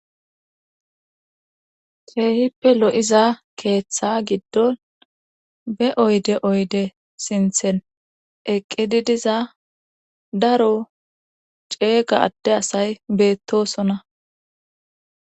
Ceehippe lo'iza keeththa giddon be oyde oyde sinthen eqqididiza daro ceega adde asay beettosona.